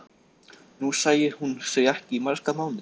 Nú sæi hún þau ekki í marga mánuði.